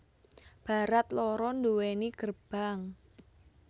Barat loro duweni gerbang